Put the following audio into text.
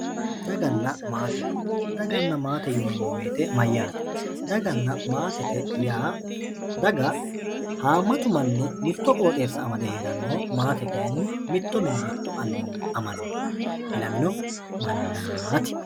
Daganna maate daganna maate yinemo woyite mayyaate daganna maatete yaa daga haamatu manni mito qooxeesa amade heranno maate kaayini mito mine mitu aninina amani ilamino manaati